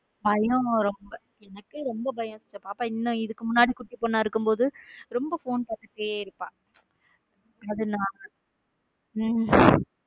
பயம் எனக்கு ரொம்ப பயம் பாப்பா இதுக்கு முன்னாடி குட்டி பொண்ணா இருக்கும் போது ரொம்ப phone பார்த்துட்டே இருப்பா அதனா உம்